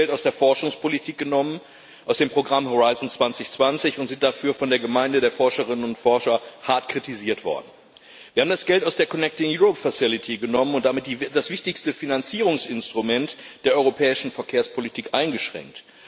Wir haben das Geld aus der Forschungspolitik genommen, aus dem Programm Horizont 2020, und sind dafür von der Gemeinde der Forscherinnen und Forscher hart kritisiert worden. Wir haben das Geld aus der Connecting Europe Facility genommen und damit das wichtigste Finanzierungsinstrument der europäischen Verkehrspolitik eingeschränkt.